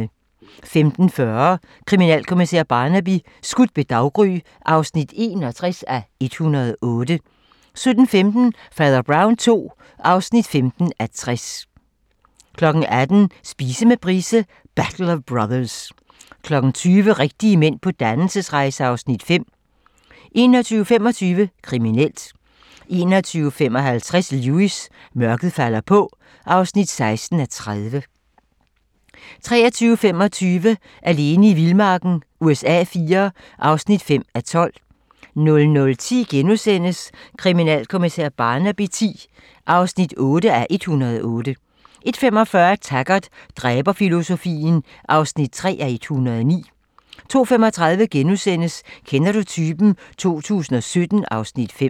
15:40: Kriminalkommissær Barnaby: Skudt ved daggry (61:108) 17:15: Fader Brown II (15:60) 18:00: Spise med Price - Battle of Brothers 20:00: Rigtige mænd på dannelsesrejse (Afs. 5) 21:25: Kriminelt 21:55: Lewis: Mørket falder på (16:30) 23:25: Alene i vildmarken USA IV (5:12) 00:10: Kriminalkommissær Barnaby X (8:108)* 01:45: Taggart: Dræberfilosofien (3:109) 02:35: Kender du typen? 2017 (Afs. 5)*